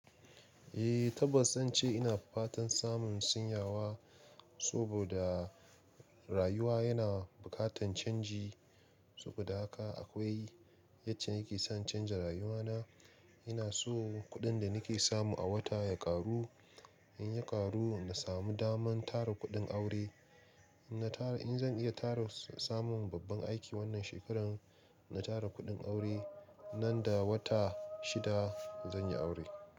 Eh, tabbas zan ce ina fatan samun sinyawa saboda rayuwa yana bukatan canji. Saboda haka akwai yadda nake son canza rayuwana. Ina so kuɗin da nake samu a wata ya ƙaru. In ya ƙaru, na samu daman tara kuɗin aure. In na tara, in zan iya tara samun babban aiki wannan shekarar, na tara kuɗin aure, nan da wata shida zan yi aure.